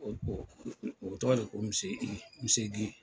O o o tɔgɔ de ko Gey.